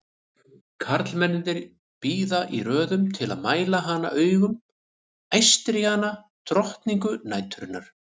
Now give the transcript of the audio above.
Karlmennirnir bíða í röðum til að mæla hana augum, æstir í hana, drottningu næturinnar!